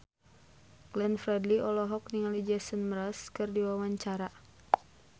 Glenn Fredly olohok ningali Jason Mraz keur diwawancara